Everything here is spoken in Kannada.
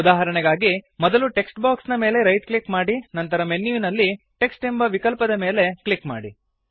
ಉದಾಹರಣೆಗಾಗಿ ಮೊದಲು ಟೆಕ್ಸ್ಟ್ ಬಾಕ್ಸ್ ನ ಮೇಲೆ ರೈಟ್ ಕ್ಲಿಕ್ ಮಾಡಿ ನಂತರ ಮೆನ್ಯುವಿನಲ್ಲಿ ಟೆಕ್ಸ್ಟ್ ಎಂಬ ವಿಕಲ್ಪದ ಮೇಲೆ ಕ್ಲಿಕ್ ಮಾಡಿ